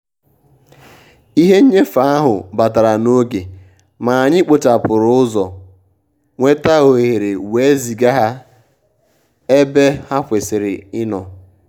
ìhè nnyéfé áhụ́ bàtàrà n’ógè mà ànyị́ kpòchàpụ́rụ̀ ụ́zọ́ nwétà òhéré wèé zìgà hà ébè hà kwésị́rị́ ì nọ́.